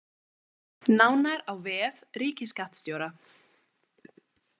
Nánar á vef ríkisskattstjóra